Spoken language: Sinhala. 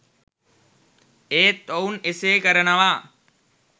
ඒත් ඔවුන් එසේ කරනවා.